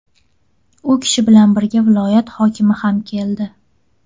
U kishi bilan birga viloyat hokimi ham keldi.